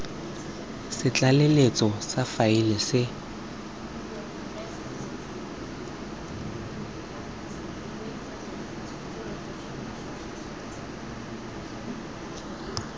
sa tlaleletso sa faele se